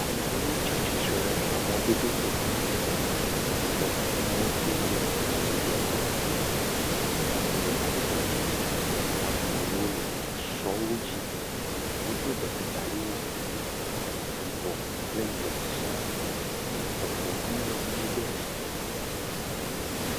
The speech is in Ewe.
Ame aɖewo tsia tsitr ɖe emɔdodo to yi ke motowo le emɔdodoa to. Me aɖewo le mɔdodoa dzi. Ame aɖewo le esɔwo dzi. Wodo betrekali wo. Yibɔ kple ʋia sia. Eŋuawo hã le mɖodoa dzi.